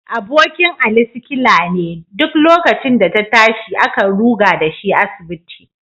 Abokin Ali sikila ne, duk lokacin da ta tashi, akan ruga da shi asibiti